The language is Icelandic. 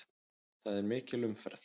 Það er mikil umferð.